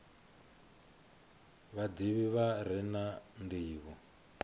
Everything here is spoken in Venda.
vhadivhi vha re na ndivho